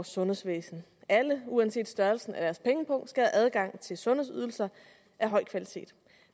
sundhedsvæsen alle uanset størrelsen af deres pengepung skal have adgang til sundhedsydelser af høj kvalitet